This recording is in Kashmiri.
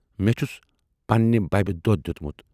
مے چھُس پننہِ بَبہِ دۅدھ دٮُ۪تمُت۔